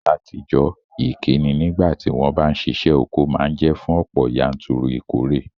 Látijọ́, ìkíni nígbàtí won ba n sisẹ́ oko ma n je fún ọ̀pọ̀yanturu ìkóre